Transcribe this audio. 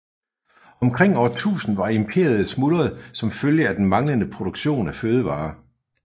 Omkring år 1000 var imperiet smuldret som følge af den manglende produktion af fødevarer